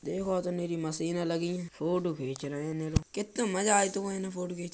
देखो तो नीरी मशीनें लगी हैं। फोटो खींच रहे है नीरू। कित्तो मजा आइतो इन्हें फोटो खींच --